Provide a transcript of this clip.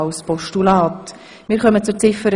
Wir kommen zu Ziffer